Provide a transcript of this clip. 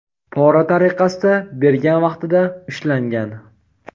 pora tariqasida bergan vaqtida ushlangan.